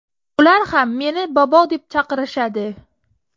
Ular ham meni bobo deb chaqirishadi.